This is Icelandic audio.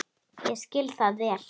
Ég skil það vel.